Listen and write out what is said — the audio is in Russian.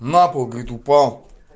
на пол говорит упал